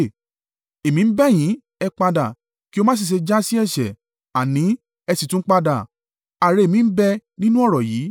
Èmi ń bẹ̀ yín, ẹ padà, kí ó má sì ṣe jásí ẹ̀ṣẹ̀; àní, ẹ sì tún padà, àre mi ń bẹ nínú ọ̀rọ̀ yìí.